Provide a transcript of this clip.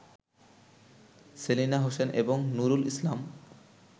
সেলিনা হোসেন এবং নূরুল ইসলাম